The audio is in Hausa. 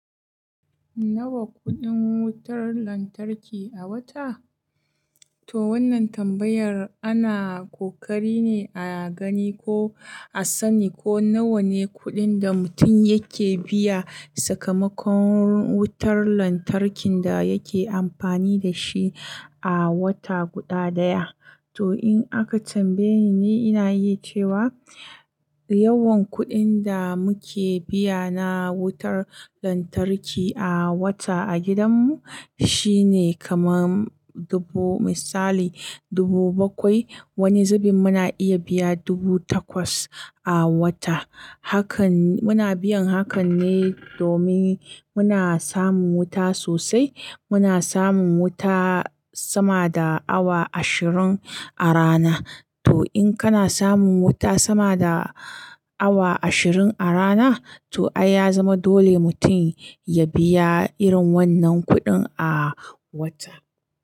Nawa kuɗin wutar lantarki a wata? To wannan tambayar ana ƙoƙari ne a gani ko a sani ko nawa ne kuɗin da mutum yake biya sakamakon wutar lantarkin da yake amfani da shi a wata guda daya. To in aka tambaye ni, ni ina iya cewa yawan kuɗin da muke biya na wutar lantarki a wata a gidanmu shine kaman dubu, misali dubu bakwai. Wani zubin muna iya biya dubu takwas a wata. Hakan muna biyan hakan ne domin muna samun wuta sosai. Muna samun wuta sama da awa ashirin a rana. To in kana samun wuta sama da awa ashirin a rana, to ai ya zama dole mutum ya biya irin wannan kuɗin a wata.